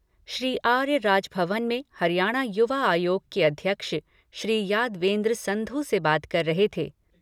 श्री आर्य, राजभवन में हरियाणा युवा आयोग के अध्यक्ष, श्री यादवेन्द्र संधु से बात कर रहे थे।